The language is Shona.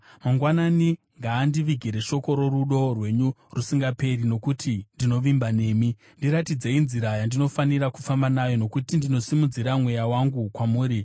Mangwanani ngaandivigire shoko rorudo rwenyu rusingaperi, nokuti ndinovimba nemi. Ndiratidzei nzira yandinofanira kufamba nayo, nokuti ndinosimudzira mweya wangu kwamuri.